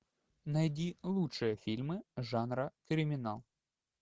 найди лучшие фильмы жанра криминал